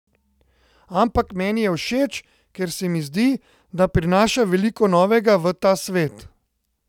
Ampak meni je všeč, ker se mi zdi, da prinaša veliko novega v ta svet.